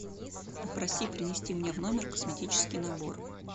попроси принести мне в номер косметический набор